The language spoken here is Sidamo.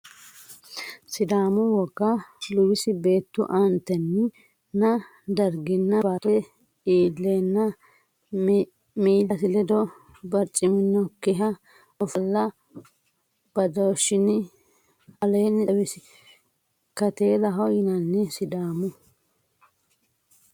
Sidaamu woga luwisi beettu aante e nanni darginna baattote iilleenna miillasi ledo barciminokkiha ofolla badooshshinni aleenni xawinsi kateelaho yinanni Sidaamu.